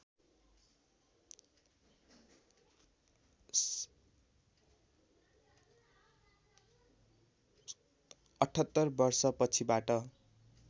७८ वर्ष पछिबाट